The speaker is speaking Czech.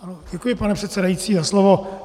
Děkuji, pane předsedající, za slovo.